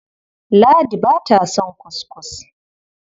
Ladi ba ta son kuskus.